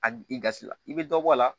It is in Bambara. A i gasi la i bɛ dɔ bɔ a la